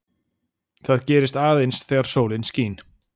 það gerist aðeins þegar sólin skín